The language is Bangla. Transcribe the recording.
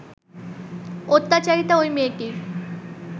অত্যাচারিতা ওই মেয়েটির